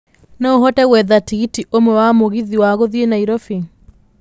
No ũhote gwetha tigiti ũmwe wa mũgithi wa gũthiĩ nairobi